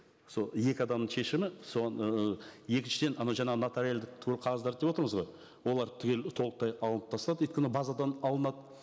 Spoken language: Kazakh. сол екі адамның шешімі соны екіншіден анау жаңағы нотариальді қағаздар деп отырмыз ғой олар түгел толықтай алынып тастады өйткені базадан алынады